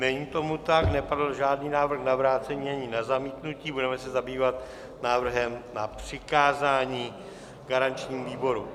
Není tomu tak, nepadl žádný návrh na vrácení ani na zamítnutí, budeme se zabývat návrhem na přikázání garančnímu výboru.